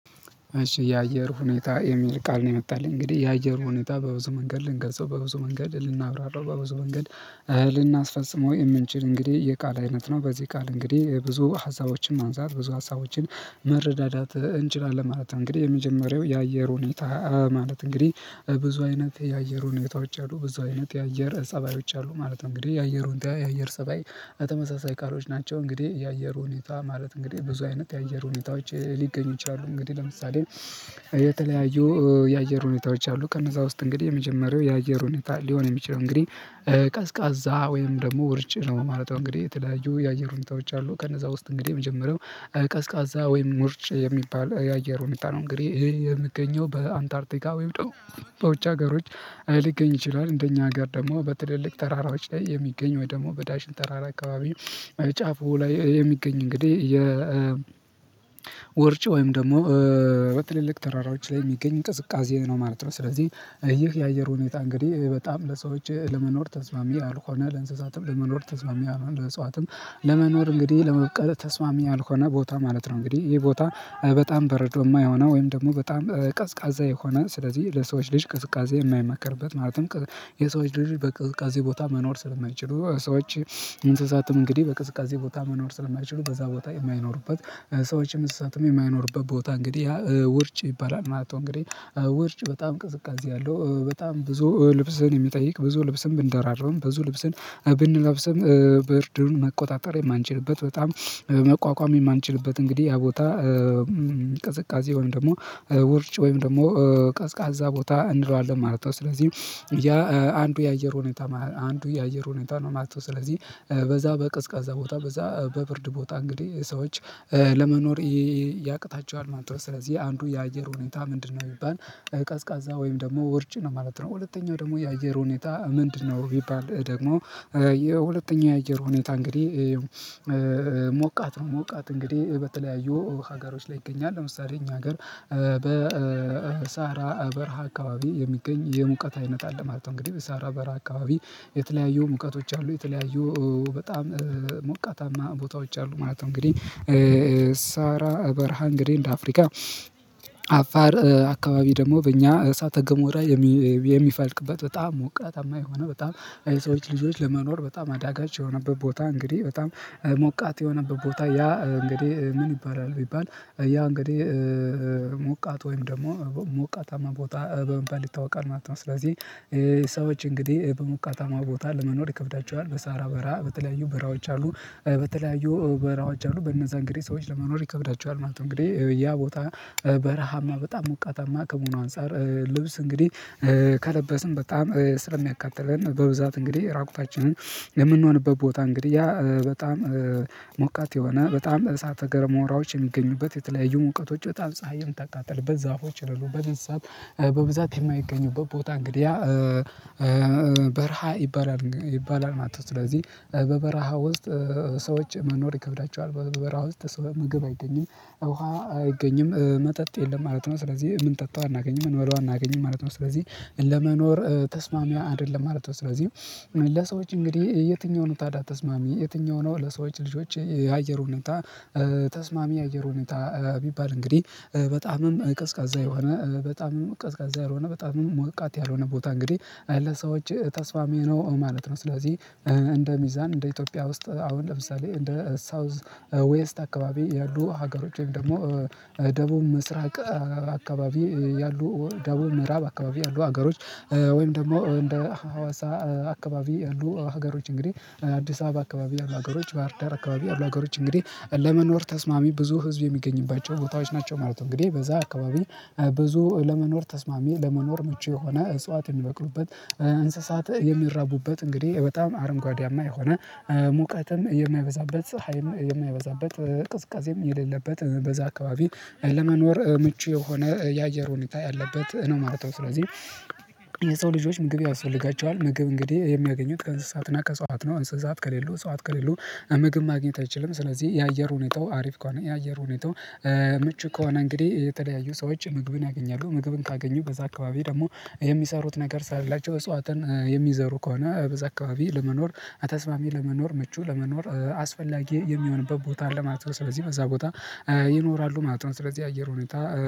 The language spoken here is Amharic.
እሺ የአየር ሁኔታ የሚል ቃል ነው የመጣልኝ። እንግዲህ የአየር ሁኔታ በብዙ መንገድ ልንገልጸው በብዙ መንገድ ልናብራራው በብዙ መንገድ ልናስፈጽመው የምንችል እንግዲህ የቃል አይነት ነው። በዚህ ቃል እንግዲህ ብዙ ሀሳቦችን ማንሳት፤ ብዙ ሀሳቦችን መረዳዳት እንችላለን ማለት ነው። እንግዲህ የመጀመሪያው የአየር ሁኔታ ማለት እንግዲህ ብዙ አይነት የአየር ሁኔታዎች አሉ። ብዙ አይነት የአየር ፀባዮች አሉ ማለት ነው። እንግዲህ የአየር ሁኔታ፣ የአየር ፀባይ ተመሳሳይ ቃሎች ናቸው። እንግዲህ የአየር ሁኔታ ማለት እንግዲህ ብዙ አይነት የአየር ሁኔታዎች ሊገኙ ይችላሉ። እንግዲህ ለምሳሌ የተለያዩ የአየር ሁኔታዎች አሉ። ከነዛ ውስጥ እንግዲህ የመጀመሪያው የአየር ሁኔታ ሊሆን የሚችለው እንግዲህ ቀዝቃዛ ወይም ደግሞ ውርጭ ነው ማለት ነው። እንግዲህ የተለያዩ የአየር ሁኔታዎች አሉ። ከነዛ ውስጥ እንግዲህ የመጀመሪያው ቀዝቃዛ ወይም ውርጭ የሚባል የአየር ሁኔታ ነው። እንግዲህ ይህ የሚገኘው በአንታርቲካ ወይም ደሞ በውጭ ሀገሮች ሊገኝ ይችላል። እንደኛ አገር ደግሞ በትልልቅ ተራራዎች ላይ የሚገኝ ወይ ደግሞ በዳሽን ተራራ አካባቢ ጫፉ ላይ የሚገኝ እንግዲህ ውርጭ ወይም ደግሞ በትልልቅ ተራራዎች ላይ የሚገኝ ቅዝቃዜ ነው ማለት ነው። ስለዚህ ይህ የአየር ሁኔታ እንግዲህ በጣም ለሰዎች ለመኖር ተስማሚ ያልሆነ፤ ለእንስሳትም ለመኖር ተስማሚ ያልሆነ፤ ለእጽዋትም ለመኖር እንግዲህ ለመብቀል ተስማሚ ያልሆነ ቦታ ማለት ነው። እንግዲህ ይህ ቦታ በጣም በረዷማ የሆነ ወይም ደግሞ በጣም ቀዝቃዛ የሆነ ስለዚህ ለሰዎች ልጅ ቅዝቃዜ የማይመከርበት ማለትም የሰዎች ልጅ በቅዝቃዜ ቦታ መኖር ስለማይችሉ ሰዎች እንስሳትም እንግዲህ በቅዝቃዜ ቦታ መኖር ስለማይችሉ በዛ ቦታ የማይኖሩበት ሰዎችም እንስሳትም የማይኖሩበት ቦታ እንግዲህ ያ ውርጭ ይባላል ማለት ነው። እንግዲህ ውርጭ በጣም ቅዝቃዜ ያለው በጣም ብዙ ልብስን የሚጠይቅ ብዙ ልብስን ብንደራርብም ብዙ ልብስን ብንለብስም ብርዱን መቆጣጠር የማንችልበት በጣም መቋቋም የማንችልበት እንግዲህ ያ ቦታ ቅዝቃዜ ወይም ደግሞ ውርጭ ወይም ደግሞ ቀዝቃዛ ቦታ እንለዋለን ማለት ነው። ስለዚህ ያ አንዱ የአየር ሁኔታ አንዱ የአየር ሁኔታ ነው ማለት ነው። ስለዚህ በዛ በቀዝቃዛ ቦታ በዛ በብርድ ቦታ እንግዲህ ሰዎች ለመኖር ያቅታቸዋል ማለት ነው። ስለዚህ አንዱ የአየር ሁኔታ ምንድነው? ቢባል ቀዝቃዛ ወይም ደግሞ ውርጭ ነው ማለት ነው። ሁለተኛው ደግሞ የአየር ሁኔታ ምንድነው? ቢባል ደግሞ የሁለተኛው የአየር ሁኔታ እንግዲህ ሞቃት ነው። ሞቃት እንግዲህ በተለያዩ ሀገሮች ላይ ይገኛል። ለምሳሌ እኛ አገር በሰሀራ በረሃ አካባቢ የሚገኝ የሙቀት አይነት አለ ማለት ነው። እንግዲህ በሰሀራ በረሃ አካባቢ የተለያዩ ሙቀቶች አሉ። የተለያዩ በጣም ሞቃታማ ቦታዎች አሉ ማለት ነው። እንግዲህ ሰሀራ በረሃ እንግዲህ እንደ አፍሪካ አፋር አካባቢ ደግሞ በእኛ እሳተ ገሞራ የሚፈልቅበት በጣም ሞቃታማ የሆነ፤ በጣም የሰዎች ልጆች ለመኖር በጣም አዳጋች የሆነበት ቦታ፤ እንግዲህ በጣም ሞቃት የሆነበት ቦታ ያ እንግዲህ ምን ይባላል? ቢባል ያ እንግዲህ ሞቃት ወይም ደግሞ ሞቃታማ ቦታ በመባል ይታወቃል ማለት ነው። ስለዚህ ሰዎች እንግዲህ በሞቃታማ ቦታ ለመኖር ይከብዳቸዋል። በሰሀራ በረሃ በተለያዩ በረሃዎች አሉ። በተለያዩ በረሃዎች አሉ። በእነዛ እንግዲህ ሰዎች ለመኖር ይከብዳቸዋል ማለት ነው። እንግዲህ ያ ቦታ በረሃማ በጣም ሞቃታማ ከመሆኑ አንፃር ልብስ እንግዲህ ከለበስን በጣም ስለሚያቃጥለን በብዛት እንግዲህ እራቁታችንን የምንሆንበት ቦታ እንግዲህ ያ በጣም ሞቃት የሆነ፤ በጣም እሳተ ገሞራዎች የሚገኙበት የተለያዩ ሙቀቶች በጣም ፀሀይ የምታቃጥልበት፤ ዛፎች የሌሉበት፤ እንስሳት በብዛት የማይገኙበት ቦታ እንግዲህ ያ በረሃ ይባላል። ይባላል ማለት ነው። ስለዚህ በበረሃ ውስጥ ሰዎች መኖር ይከብዳቸዋል። በበረሃ ውስጥ ምግብ አይገኝም፤ ውሃ አይገኝም፤ መጠጥ የለም ማለት ነው። ስለዚህ እምንጠጣው አናገኝም። እምንበላው አናገኝም ማለት ነው። ስለዚህ ለመኖር ተስማሚ አይደለም ማለት ነው። ስለዚህ ለሰዎች እንግዲህ የትኛው ነው ታዳ ተስማሚ? የትኛው ነው ለሰዎች ልጆች የአየር ሁኔታ ተስማሚ የአየር ሁኔታ ቢባል እንግዲህ በጣምም ቀዝቃዛ የሆነ በጣምም ቀዝቃዛ ያልሆነ፤ በጣምም ሞቃት ያልሆነ ቦታ እንግዲህ ለሰዎች ተስማሚ ነው ማለት ነው። ስለዚህ እንደ ሚዛን እንደ ኢትዮጵያ ውስጥ አሁን ለምሳሌ እንደ ሳውዝ ዌስት አካባቢ ያሉ ሀገሮች ወይም ደግሞ ደቡብ ምስራቅ አካባቢ ያሉ ደቡብ ምዕራብ አካባቢ ያሉ አገሮች ወይም ደግሞ እንደ ሀዋሳ አካባቢ ያሉ ሀገሮች፤ እንግዲህ አዲስ አበባ አካባቢ ያሉ ሀገሮች፤ ባህርዳር አካባቢ ያሉ ሀገሮች እንግዲህ ለመኖር ተስማሚ፤ ብዙ ህዝብ የሚገኝባቸው ቦታዎች ናቸው ማለት ነው። እንግዲህ በዛ አካባቢ ብዙ ለመኖር ተስማሚ፤ ለመኖር ምቹ የሆነ እጽዋት የሚበቅሉበት እንስሳት የሚራቡበት እንግዲህ በጣም አረንጓዴያማ የሆነ፤ ሙቀትም የማይበዛበት፤ ፀሀይም የማይበዛበት፤ ቅዝቃዜም የሌለበት በዛ አካባቢ ለመኖር ምቹ የሆነ የአየር ሁኔታ ያለበት ነው ማለት ነው። ስለዚህ የሰው ልጆች ምግብ ያስፈልጋቸዋል። ምግብ እንግዲህ የሚያገኙት ከእንስሳትና ከእጸዋት ነው። እንስሳት ከሌሉ እጸዋት ከሌሉ ምግብ ማግኘት አይችልም። ስለዚህ የአየር ሁኔታው አሪፍ ከሆነ የአየር ሁኔታው ምቹ ከሆነ እንግዲህ የተለያዩ ሰዎች ምግብን ያገኛለ። ምግብን ካገኙ በዛ አካባቢ ደግሞ የሚሰሩት ነገር ስላላቸው እጸዋትን የሚዘሩ ከሆነ በዛ አካባቢ ለመኖር ተስማሚ፤ ለመኖር ምቹ፤ ለመኖር አስፈላጊ የሚሆንበት ቦታ አለ ማለት ነው። ስለዚህ በዛ ቦታ ይኖራሉ ማለት ነው። ስለዚህ አየር ሁኔታ